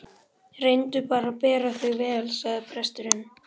Reyndu að bera þig vel, sagði presturinn.